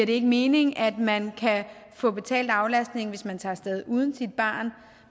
ikke mening at man kan få betalt aflastning hvis man tager af sted uden sit barn